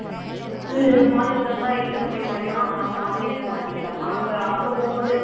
அது மாத்துறதா இருந்த எங்க போய் மறுபடியும் நம்ம online லயே மாத்திக்கலாமா அப்ப அங்க போகும்போது